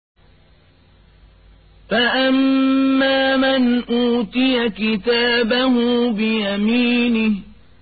فَأَمَّا مَنْ أُوتِيَ كِتَابَهُ بِيَمِينِهِ